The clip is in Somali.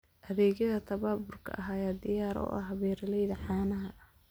Adeegyada tababarka ayaa diyaar u ah beeralayda caanaha.